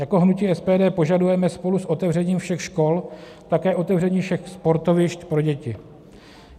Jako hnutí SPD požadujeme spolu s otevřením všech škol také otevření všech sportovišť pro děti.